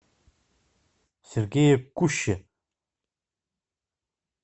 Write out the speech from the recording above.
сергее куще